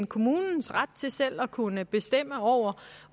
kommunens ret til selv at kunne bestemme over